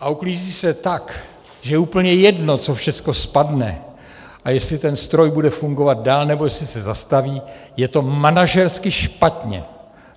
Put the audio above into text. a uklízí se tak, že je úplně jedno, co všecko spadne a jestli ten stroj bude fungovat dál, nebo jestli se zastaví, je to manažersky špatně.